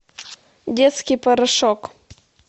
детский порошок